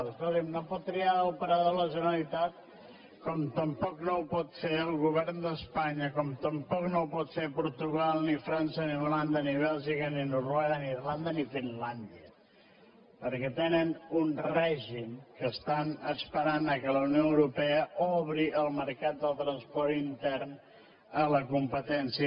escolti’m no pot triar operador la generalitat com tampoc no ho pot fer el govern d’espanya com tampoc no ho poden fer portugal ni frança ni holanda ni bèlgica ni noruega ni irlanda ni finlàndia perquè tenen un règim que estan esperant que la unió europea obri el mercat del transport intern a la competència